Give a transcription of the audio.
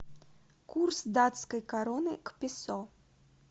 курс датской кроны к песо